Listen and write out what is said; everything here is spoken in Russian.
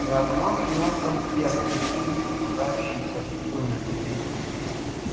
за окном шумел проспект медленно погружающийся в сумерки